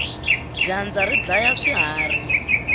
dyandza ri dlaya swiharhi